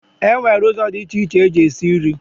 E nwere ụzọ dị iche iche eji esi nri.